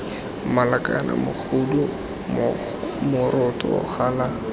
mala kana mogodu moroto gala